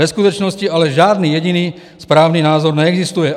Ve skutečnosti ale žádný jediný správný názor neexistuje.